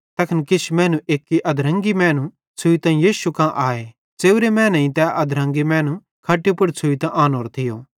तैखन किछ मैनू एक्की अधरंगी मैनू छ़ुइतां यीशु कां आए च़ेव्रे मैनेईं तै अधरंगी मैनू खट्टी पुड़ छ़ुइतां आनोरो थियो